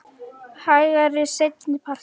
Hægari seinni partinn